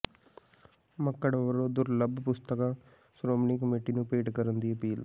ਮੱਕੜ ਵੱਲੋਂ ਦੁਰਲੱਭ ਪੁਸਤਕਾਂ ਸ਼੍ਰੋਮਣੀ ਕਮੇਟੀ ਨੂੰ ਭੇਟ ਕਰਨ ਦੀ ਅਪੀਲ